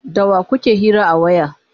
da wa kuke hira a waya?